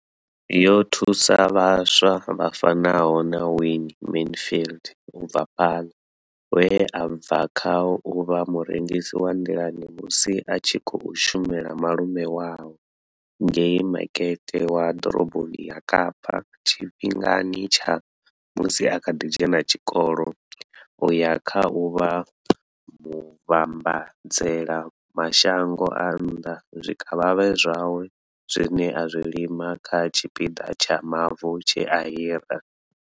Yo thusa vhaswa vha fanaho na Wayne Mansfield u bva Paarl, we a bva kha u vha murengisi wa nḓilani musi a tshi khou shumela malume awe ngei makete wa ḓoroboni ya Kapa tshifhingani tsha musi a kha ḓi dzhena tshikolo u ya kha u vha muvhambadzela mashango a nnḓa zwikavhavhe zwawe zwine a zwi lima kha tshipiḓa tsha mavu tshe a hira.